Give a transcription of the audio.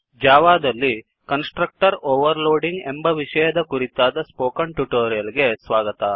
ಜಾವಾದಲ್ಲಿ constructor overloading ಎಂಬ ವಿಷಯದ ಕುರಿತಾದ ಸ್ಪೋಕನ್ ಟ್ಯುಟೋರಿಯಲ್ ಗೆ ಸ್ವಾಗತ